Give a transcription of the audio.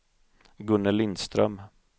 Gunnel Lindström